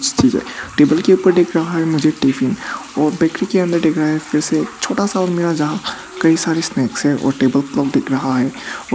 table के ऊपर मुझे एक टिफिन और के अंदर दिख रहा है फिर से छोटा सा और मिरर जहां कई सारे स्नैक्स हैं और टेबल दिख रहा है और--